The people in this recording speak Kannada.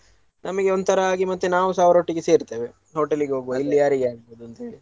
ನಮಗೆ ಒಂತರಾ ಆಗಿ ಮತ್ತೆ ನಾವುಸ ಅವರೊಟ್ಟಿಗೆ ಸೇರ್ತೇವೆ hotel ಗೆ ಹೋಗುವ ಇಲ್ಯಾರಿಗೆ ಆಗ್ತದಂತೇಳಿ.